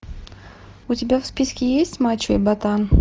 у тебя в списке есть мачо и ботан